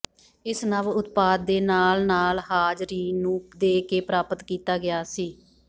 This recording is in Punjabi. ਇਸ ਨਵ ਉਤਪਾਦ ਦੇ ਨਾਲ ਨਾਲ ਹਾਜ਼ਰੀਨ ਨੂੰ ਦੇ ਕੇ ਪ੍ਰਾਪਤ ਕੀਤਾ ਗਿਆ ਸੀ